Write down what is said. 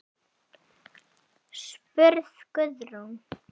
spurði Guðrún.